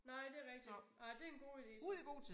Nej det rigtigt nej det en god ide så